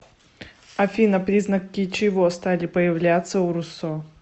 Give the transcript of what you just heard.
афина признаки чего стали появляться у руссо